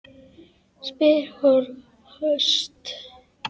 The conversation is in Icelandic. spyr hún höst.